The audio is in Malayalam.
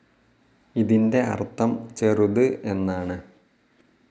ഇതിന്റെ അർഥം ചെറുത് എന്നാണ്.